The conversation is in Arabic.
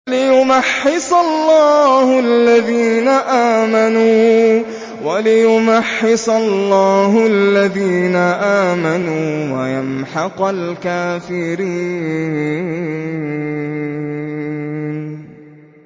وَلِيُمَحِّصَ اللَّهُ الَّذِينَ آمَنُوا وَيَمْحَقَ الْكَافِرِينَ